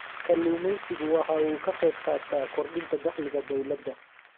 Kalluumaysigu waxa uu ka qayb qaataa kordhinta dakhliga dawladda.